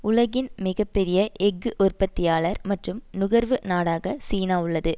உலகின் மிக பெரிய எஃகு உற்பத்தியாளர் மற்றும் நுகர்வு நாடாக சீனா உள்ளது